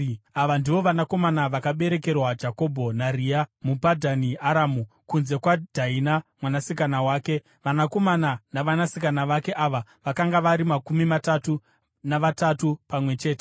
Ava ndivo vanakomana vakaberekerwa Jakobho naRea muPadhani Aramu, kunze kwaDhaina mwanasikana wake. Vanakomana navanasikana vake ava vakanga vari makumi matatu navatatu pamwe chete.